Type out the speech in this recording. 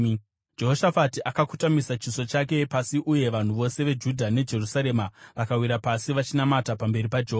Jehoshafati akakotamisa chiso chake pasi uye vanhu vose veJudha neJerusarema vakawira pasi vachinamata pamberi paJehovha.